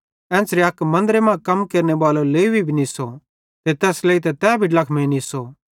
एन्च़रे अक मन्दरे मां कम केरनेबालो लेवी भी निस्सो ते तैस लेइतां तै भी ड्लखमेइं निस्सो